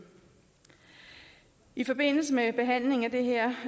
i forbindelse med behandlingen af det her